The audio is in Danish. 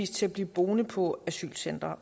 til at blive boende på asylcentre